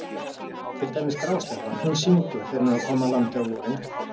Til dæmis grásleppan, hún syngur þegar hún er að koma að landi á vorin.